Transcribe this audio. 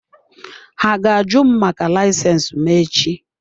Ha ga-àju m maka layisensi m echi.